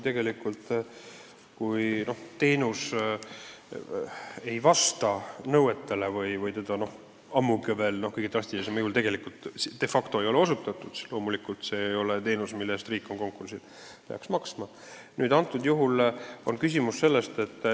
Kui teenus ei vasta nõuetele või veelgi hullem, kui kõige drastilisemal juhul seda de facto ei olegi osutatud, siis loomulikult riik ei pea selle eest maksma.